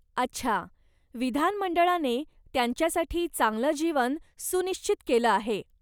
अच्छा! विधानमंडळाने त्यांच्यासाठी चांगलं जीवन सुनिश्चित केलं आहे!